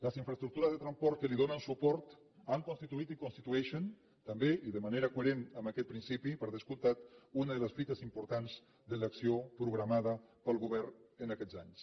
les infraestructures de transport que li donen suport han constituït i constitueixen també i de manera coherent amb aquest principi per descomptat una de les fites importants de l’acció programada pel govern en aquests anys